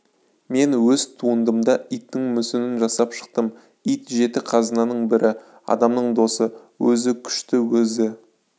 мен өз туындымда иттің мүсінін жасап шықтым ит жеті қазынаның бірі адамның досы өзі күшті өзі